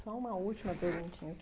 Só uma última perguntinha aqui.